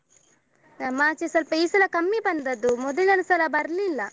ನಮ್ಮಾಚೆ ಸ್ವಲ್ಪ ಈ ಸಲ ಕಮ್ಮಿ ಬಂದದ್ದು ಮೊದಲಿನ ಸಲ ಬರ್ಲಿಲ್ಲ.